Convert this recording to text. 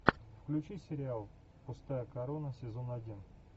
включи сериал пустая корона сезон один